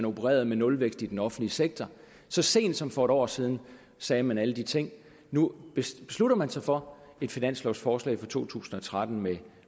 opereret med nulvækst i den offentlige sektor så sent som for et år siden sagde man alle de ting nu beslutter man sig for et finanslovforslag for to tusind og tretten med